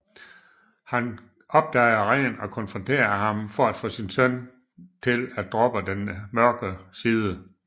Han opdager Ren og konfronterer ham for at få sin søn til at droppe den mørke side